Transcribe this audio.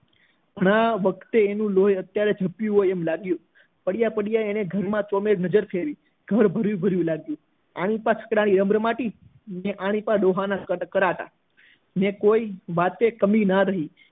ના આ વખતે એનું લોહી જપ્યું હોય એમ લાગ્યું પડ્યા પડ્યા એને મનમાં ચો ફેર નજર ફેરવી ઘર ભર્યું ભર્યું લાગ્યું આની બાજુ છકડા ની રમ રમાટી અને આની બાજુ ડોહા ના ખરાટા ને કોઈ વાત ની કમી ન રહી